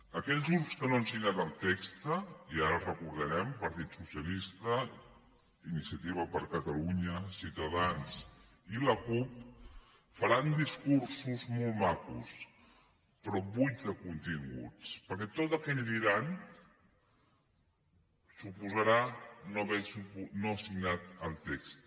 aquells grups que no han signat el text i ara els recordarem partit socialista iniciativa per catalunya ciutadans i la cup faran discursos molt macos però buits de continguts perquè tot el que diran suposarà no haver signat el text